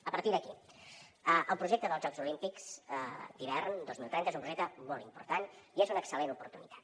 a partir d’aquí el projecte dels jocs olímpics d’hivern dos mil trenta és un projecte molt important i és una excel·lent oportunitat